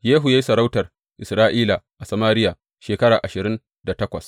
Yehu ya yi sarautar Isra’ila a Samariya shekara ashirin da takwas.